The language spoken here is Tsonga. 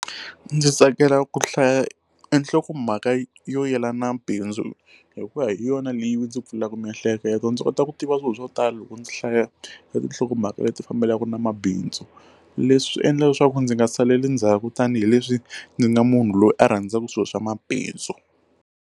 Ndzi tsakela ku hlaya nhlokomhaka yo yelana na bindzu hikuva hi yona leyi ndzi pfulaka miehleketo ndzi kota ku tiva swilo swo tala loko ndzi hlaya tinhlokomhaka leti fambelanaka na mabindzu leswi endla leswaku ndzi nga saleli ndzhaku tanihileswi ndzi nga munhu loyi a rhandzaka swilo swa mabindzu.